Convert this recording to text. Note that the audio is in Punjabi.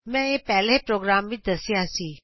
ਮੈਂ ਇਹ ਪਹਿਲੇ ਪ੍ਰੋਗਰਾਮ ਵਿਚ ਦੱਸਿਆ ਸੀ